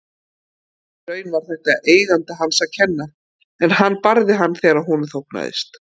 Í raun var þetta eiganda hans að kenna en hann barði hann þegar honum þóknaðist.